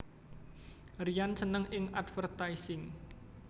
Ryan seneng ing advertising